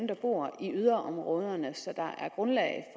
der bor i yderområderne så der er grundlag